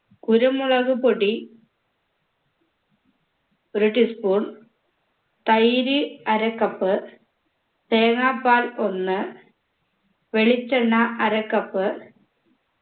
കുരുമുളകു പൊടി ഒരു tea spoon തൈര് അര cup തേങ്ങാപാൽ ഒന്ന് വെളിച്ചണ്ണ അര cup